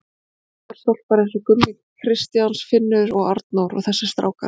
Máttarstólpar eins og Gummi Kristjáns, Finnur og Arnór og þessir strákar.